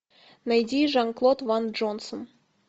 найди жан клод ван джонсон